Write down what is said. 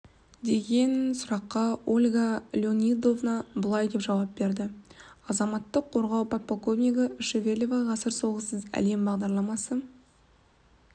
деген сұраққа ольга леонидовна былай деп жауап берді азаматтық қорғау подполковнигі шевелева ғасыр соғыссыз әлем бағдарламасы